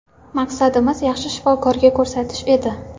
Maqsadimiz yaxshi shifokorga ko‘rsatish edi.